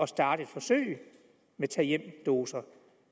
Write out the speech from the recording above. starte et forsøg med tag hjem doser